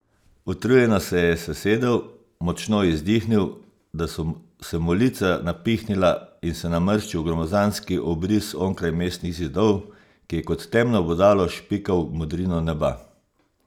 Utrujeno se je sesedel, močno izdihnil, da so se mu lica napihnila, in se namrščil v gromozanski obris onkraj mestnih zidov, ki je kot temno bodalo špikal v modrino neba.